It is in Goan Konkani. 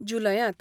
जुलयांत.